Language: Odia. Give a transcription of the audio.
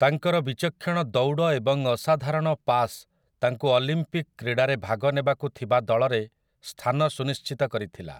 ତାଙ୍କର ବିଚକ୍ଷଣ ଦୌଡ଼ ଏବଂ ଅସାଧାରଣ ପାସ ତାଙ୍କୁ ଅଲିମ୍ପିକ୍ କ୍ରୀଡ଼ାରେ ଭାଗ ନେବାକୁ ଥିବା ଦଳରେ ସ୍ଥାନ ସୁନିଶ୍ଚିତ କରିଥିଲା ।